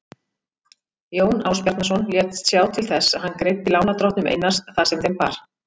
Jón Ásbjarnarson lét sjá til þess að hann greiddi lánardrottnum Einars það sem þeim bar.